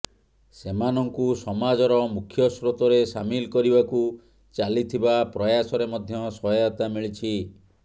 ସେମାନଙ୍କୁ ସମାଜର ମୁଖ୍ୟସ୍ରୋତରେ ସାମିଲ କରିବାକୁ ଚାଲିଥିବା ପ୍ରୟାସରେ ମଧ୍ୟ ସହାୟତା ମିଳିଛି